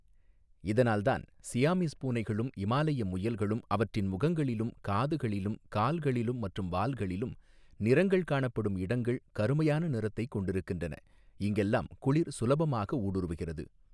இதனால் தான் சியாமீஸ் பூனைகளும் இமாலய முயல்களும் அவற்றின் முகங்களிலும் காதுகளிலும் கால்களிலும் மற்றும் வால்களிலும் நிறங்கள் காணப்படும் இடங்கள் கருமையான நிறத்தைக் கொண்டிருக்கின்றன இங்கெல்லாம் குளிர் சுலபமாக ஊடுறவுகிறது.